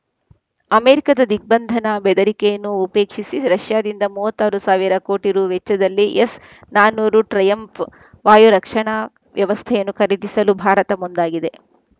ಅಮೆರಿಕದ ದಿಗ್ಬಂಧನ ಬೆದರಿಕೆಯನ್ನು ಉಪೇಕ್ಷಿಸಿ ರಷ್ಯಾದಿಂದ ಮೂವತ್ತ್ ಆರು ಸಾವಿರ ಕೋಟಿ ರು ವೆಚ್ಚದಲ್ಲಿ ಎಸ್‌ ನಾನೂರು ಟ್ರಯಂಫ್‌ ವಾಯು ರಕ್ಷಣಾ ವ್ಯವಸ್ಥೆಯನ್ನು ಖರೀದಿಸಲು ಭಾರತ ಮುಂದಾಗಿದೆ